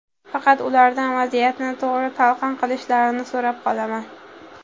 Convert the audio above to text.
Faqat ulardan vaziyatni to‘g‘ri talqin qilishlarini so‘rab qolaman.